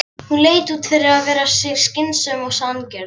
Hún leit út fyrir að vera skynsöm og sanngjörn.